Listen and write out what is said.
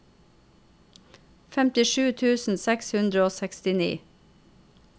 femtisju tusen seks hundre og sekstini